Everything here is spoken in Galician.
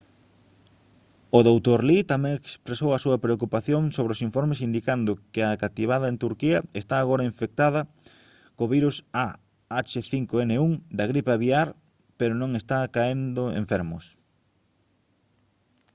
o dr. lee tamén expresou a súa preocupación sobre os informes indicando que a cativada en turquía está agora infectada co virus ah5n1 da gripe aviar pero non están caendo enfermos